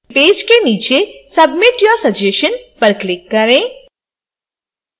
page के नीचे submit your suggestion पर click करें